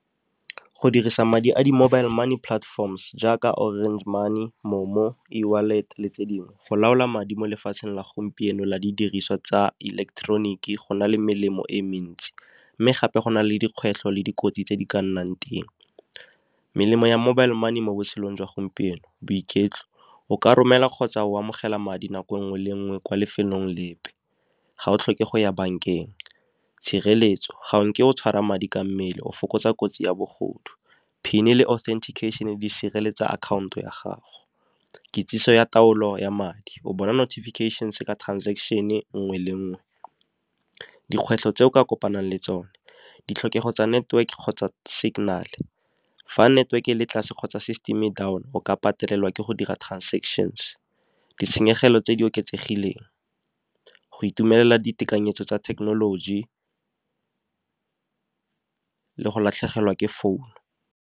Go dirisa madi a di-mobile money platforms jaaka Orange Money, MoMo, eWallet le tse dingwe. Go laola madi mo lefatsheng la gompieno la didiriswa tsa ileketeroniki go na le melemo e mentsi. Mme gape go na le dikgwetlho le dikotsi tse di ka nnang teng, melemo ya mobile money mo botshelong jwa gompieno, boiketlo o ka romela kgotsa o amogela madi nako nngwe le nngwe kwa lefelong lepe, ga o tlhoke go ya bankeng. Tshireletso, ga nke o tshwara madi ka mmele o fokotsa kotsi ya bogodu, PIN e le authentication di sireletsa akhaonto ya gago. Kitsiso ya taolo ya madi, o bona notification ka transaction e nngwe le nngwe. Dikgwetlho tse o ka kopanang le tsone, ditlhokego tsa network kgotsa signal fa network le tlase kgotsa system e le down o ka patelelwa ke go dira transactions. Ditshenyegelo tse di oketsegileng go itumelela ditekanyetso tsa thekenoloji, le go latlhegelwa ke founu.